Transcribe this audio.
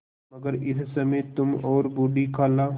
मगर इस समय तुम और बूढ़ी खाला